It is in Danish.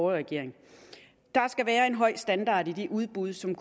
regering der skal være en høj standard i de udbud som